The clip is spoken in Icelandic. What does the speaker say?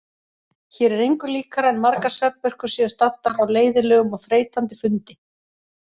Hér er engu líkara en margar svefnpurkur séu staddar á leiðinlegum og þreytandi fundi.